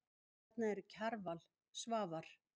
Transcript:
Þarna eru Kjarval, Svavar